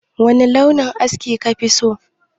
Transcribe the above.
Wani launin aski ka fi so?